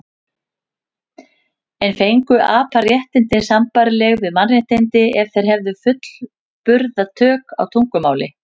En fengju apar réttindi sambærileg við mannréttindi ef þeir hefðu fullburða tök á tungumáli?